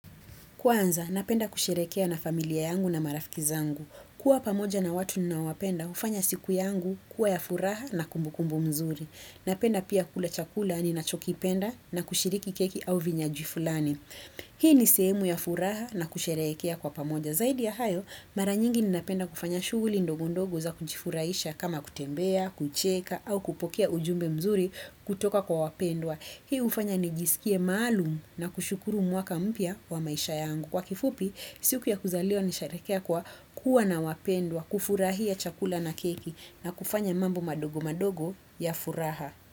Kwanza, napenda kusherehekea na familia yangu na marafiki zangu. Kuwa pamoja na watu ninawapenda, hufanya siku yangu kuwa ya furaha na kumbukumbu mzuri. Napenda pia kula chakula ninachokipenda na kushiriki keki au vinywaji fulani. Hii ni sehemu ya furaha na kusherehekea kwa pamoja. Zaidi ya hayo, mara nyingi ninapenda kufanya shughuli ndogo ndogo za kujifurahisha kama kutembea, kucheka au kupokea ujumbe mzuri kutoka kwa wapendwa. Hii hufanya nijisikie maalum na kushukuru mwaka mpya wa maisha yangu. Kwa kifupi, siku ya kuzaliwa nasherehekea kwa kuwa na wapendwa, kufurahia chakula na keki na kufanya mambo madogo madogo ya furaha.